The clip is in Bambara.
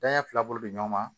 Danɲɛ fila bolo bɛ ɲɔgɔn ma